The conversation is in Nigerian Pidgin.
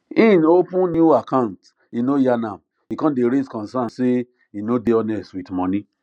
hin open new account e no yarn am e con day raise concerns say e no dey honest with money